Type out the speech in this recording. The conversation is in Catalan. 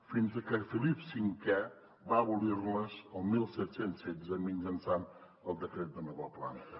fins que felip v va abolir les el disset deu sis mitjançant el decret de nova planta